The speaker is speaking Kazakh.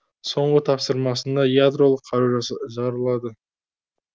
соңғы тапсырмасында ядролық қару жарылады